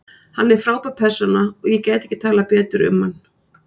Hann er frábær persóna og ég gæti ekki talað betur um hann.